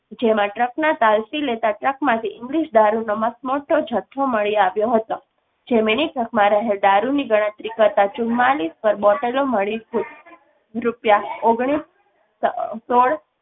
જેમાં truck ના તાલ થી લેતા truck માંથી ઇંગ્લીશ દારૂ નો મસમોટો જથ્થો મળી આવ્યો હતો. mini truck દારૂ ની ગણતરી કરતા ચુમ્મા લીસ પર bottle લો મળી.